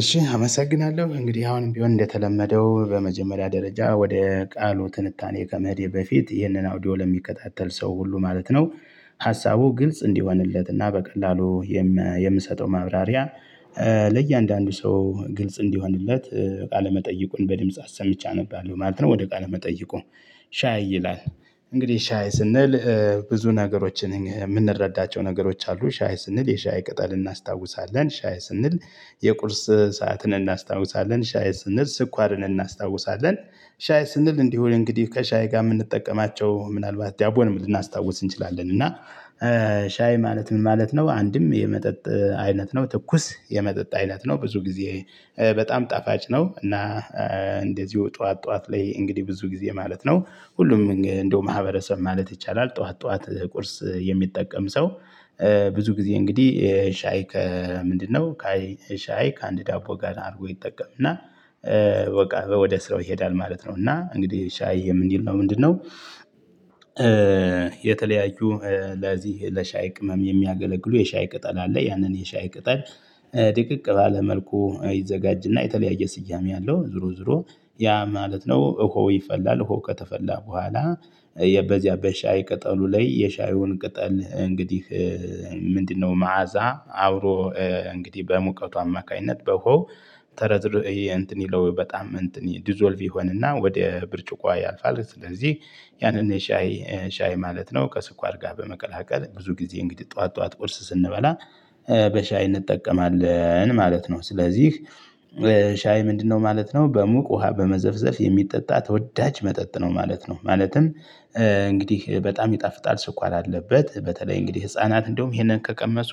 እሺ አመሰግናለሁ እንግዲህ አሁንም ቢሆን እንደተለመደው በመጀመሪያ ደረጃ ወደ ቃሉ ትንታኔ ከመሄዴ በፊት ይህንን አውዲዮ ለሚከታተል ሰው ሁሉ ማለት ነው። ሀሳቡ ግልጽ እንዲሆንለትና በቀላሉ የምሰጠው ማብራሪያ ለእያንዳንዱ ሰው ግልጽ እንዲሆንለት ቃለመጠይቁን በድምጽ አሰምቼ አነባለሁ ማለት ነው። ወደ ቃለመጠይቁ ሻይ ይላል። እንግዲህ ሻይ ስንል ብዙ ነገሮችን የምንረዳቸው ነገሮች አሉ። ሻይ ስንል የሻይ ቅጠል እናስታውሳለን ሻይ ስንል የቁርስ ሰዓትን እናስታውሳለን ሻይ ስንል ስኳርን እናስታውሳለን። ሻይ ስንል እንዲሁ እንግዲህ ከሻይ ጋር የምንጠቀማቸው ምናልባት ዳቦን ልናስታውስ እንችላለን እና ሻይ ማለት ምን ማለት ነው? አንድም የመጠጥ አይነት ነው። ትኩስ የመጠጥ አይነት ነው ብዙ ጊዜ በጣም ጣፋጭ ነው። እና እንደዚሁ ጠዋት ጠዋት ላይ እንግዲህ ብዙ ጊዜ ማለት ነው ሁሉም እንደው ማህበረሰብ ማለት ይቻላል። ጠዋት ጠዋት ቁርስ የሚጠቀም ሰው ብዙ ጊዜ እንግዲህ ሻይ ከምንድነው? ሻይ ከአንድ ዳቦ ጋር አድርጎ ይጠቀም እና በቃ ወደ ስራው ይሄዳል ማለት ነው። እና እንግዲህ ሻይ የምንለው ምንድነው? የተለያዩ ለዚህ ለሻይ ቅመም የሚያገለግሉ የሻይ ቅጠል አለ። ያንን የሻይ ቅጠል ድቅቅ ባለ መልኩ ይዘጋጅና የተለያየ ስያሜ አለው። ዙሮ ዙሮ ያ ማለት ነው እኮ ይፈላል እኮ ከተፈላ በኋላ። በዚያ በሻይ ቅጠሉ ላይ የሻዩን ቅጠል እንግዲህ ምንድነው? መዓዛ አብሮ እንግዲህ በሙቀቱ አማካኝነት በውሃው ተረድሮ ይሄ እንትን ይለው በጣም እንትን ዲዞልቭ ይሆንና ወደ ብርጭቆ ያልፋል። ስለዚህ ያንን ሻይ ሻይ ማለት ነው ከስኳር ጋር በመቀላቀል ብዙ ጊዜ እንግዲህ ጠዋት ጠዋት ቁርስ ስንበላ። በሻይ እንጠቀማለን ማለት ነው። ስለዚህ ሻይ ምንድነው ማለት ነው? በሙቅ ውሃ በመዘፍዘፍ የሚጠጣ ተወዳጅ መጠጥ ነው ማለት ነው። ማለትም እንግዲህ በጣም ይጣፍጣል። ስኳር አለበት በተለይ እንግዲህ ህፃናት እንደውም ይሄንን ከቀመሱ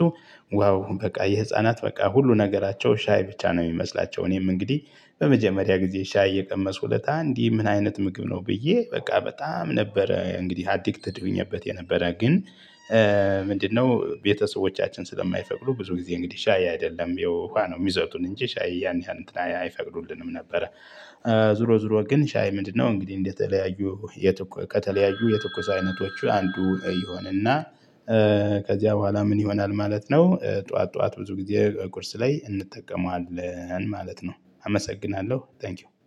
ዋው በቃ የህፃናት በቃ ሁሉ ነገራቸው ሻይ ብቻ ነው የሚመስላቸው። እኔም እንግዲህ በመጀመሪያ ጊዜ ሻይ የቀመሱ ለታ እንዲህ ምን አይነት ምግብ ነው ብዬ በቃ በጣም ነበረ እንግዲህ አዲክትድ ሆኜበት የነበረ ግን። ምንድነው ቤተሰቦቻችን ስለማይፈቅዱ ብዙ ጊዜ እንግዲህ ሻይ አይደለም የውሃ ነው የሚሰጡን እንጂ ሻይ ያን ያህል እንትን አይፈቅዱልንም ነበረ። ዙሮ ዙሮ ግን ሻይ ምንድነው? እንግዲህ እንደተለያዩ ከተለያዩ የትኩስ አይነቶቹ አንዱ ይሆንና እና ከዚያ በኋላ ምን ይሆናል ማለት ነው። ጠዋት ጠዋት ብዙ ጊዜ ቁርስ ላይ እንጠቀመዋለን ማለት ነው። አመሰግናለሁ ታንኪው